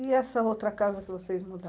E essa outra casa que vocês